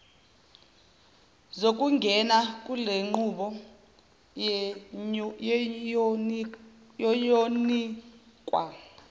zokungena kulenqubo ziyonikwa